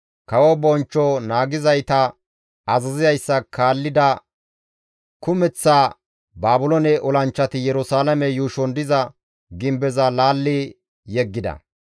Kawo bonchcho naagizayta azazizayssa kaallida kumeththa Baabiloone olanchchati Yerusalaame yuushon diza gimbeza laalli yeggida.